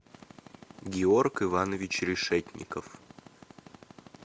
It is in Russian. георг иванович решетников